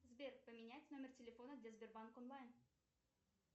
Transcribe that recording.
сбер поменять номер телефона для сбербанк онлайн